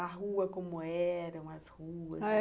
A rua, como eram as ruas?